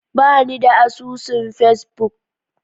Ba ni da asusun Facebook.